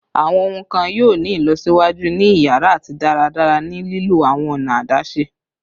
Awọn ohun kan yoo ni ilọsiwaju ni iyara ati daradara ni lilo awọn ọna adaṣe